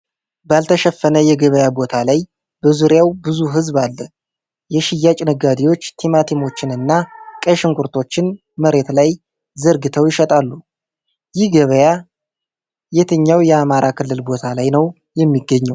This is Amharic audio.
ባልተሸፈነ የገበያ ቦታ ላይ በዙሪያው ብዙ ህዝብ አለ። የሽያጭ ነጋዴዎች ቲማቲሞችን እና ቀይ ሽንኩርቶችን መሬት ላይ ዘርግተው ይሸጣሉ። ይህ ገበያ የትኛው የአማራ ክልል ቦታ ላይ ነው የሚገኘው?